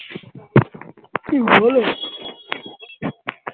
কি বল